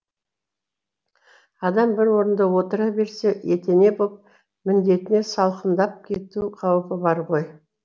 адам бір орнында отыра берсе етене боп міндетіне салқындап кету қаупі бар ғой